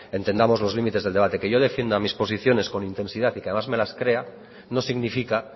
entendamos los límites del debate que yo defienda mis posiciones con intensidad y que además me las crea no significa